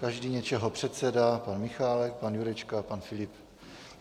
Každý něčeho předseda, pan Michálek, pan Jurečka, pan Filip.